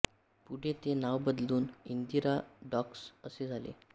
पूढे ते नाव बदलून इंदिरा डॉक्स असे झाले